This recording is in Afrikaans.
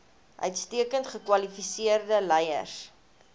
uitstekend gekwalifiseerde leiers